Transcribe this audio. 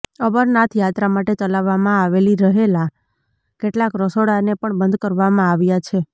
અમરનાથ યાત્રા માટે ચલાવવામાં આવેલી રહેલા કેટલાક રસોડાને પણ બંધ કરવામાં આવ્યા છે